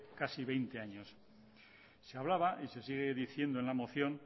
casi veinte años se hablaba y se sigue diciendo en la moción